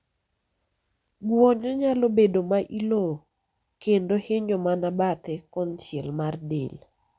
gwonyo nyalo bedo ma ilo kendo hinyo mana bathe konchiel mar del